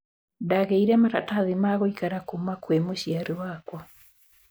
Ndagĩire maratathi ma gũikara kuuma kwĩ mũciari wakwa